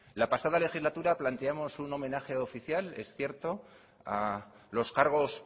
la pasada legislatura planteamos un homenaje oficial es cierto a los cargos